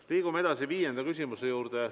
Liigume edasi viienda küsimuse juurde.